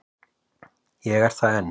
Ég er það enn.